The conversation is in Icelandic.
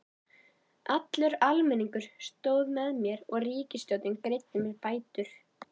Allur almenningur stóð með mér og ríkisstjórnin greiddi mér bætur.